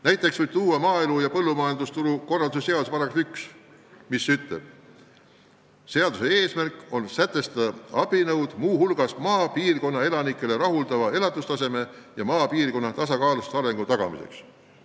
Näiteks võib tuua maaelu ja põllumajandusturu korraldamise seaduse § 1, mis ütleb: seaduse eesmärk on sätestada abinõud muu hulgas maapiirkonna elanikele rahuldava elatustaseme ja maapiirkonna tasakaalustava arengu tagamiseks.